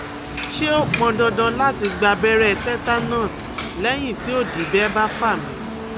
Ṣé ó pọn dandan lati gba abẹrẹ tetanus lẹyin ti odidẹ ba fa mi?